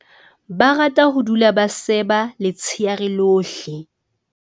Ba rata ho dula ba seba letsheare lohle.